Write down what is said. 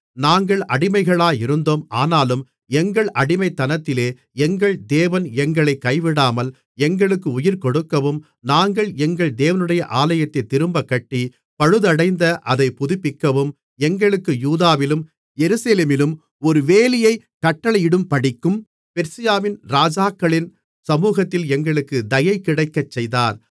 நாங்கள் அடிமைகளாயிருந்தோம் ஆனாலும் எங்கள் அடிமைத்தனத்திலே எங்கள் தேவன் எங்களைக் கைவிடாமல் எங்களுக்கு உயிர்கொடுக்கவும் நாங்கள் எங்கள் தேவனுடைய ஆலயத்தைத் திரும்பக் கட்டி பழுதடைந்த அதைப் புதுப்பிக்கவும் எங்களுக்கு யூதாவிலும் எருசலேமிலும் ஒரு வேலியைக் கட்டளையிடும்படிக்கும் பெர்சியாவின் ராஜாக்களின் சமுகத்தில் எங்களுக்குத் தயைகிடைக்கச் செய்தார்